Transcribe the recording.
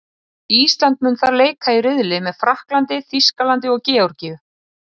Ísland mun þar leika í riðli með Frakklandi, Þýskalandi og Georgíu.